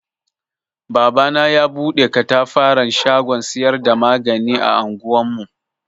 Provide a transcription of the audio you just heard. Babana ya bude ƙatafaran shagon siyar da magani a anguwar mu.